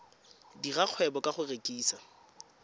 dira kgwebo ka go rekisa